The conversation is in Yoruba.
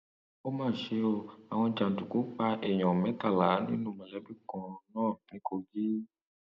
ó mà ṣe o àwọn jàǹdùkú pa èèyàn mẹtàlá nínú mọlẹbí kan náà ní kogi